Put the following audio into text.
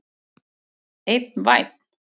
Einn vænn!